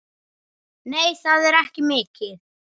Nei, það er ekki mikið.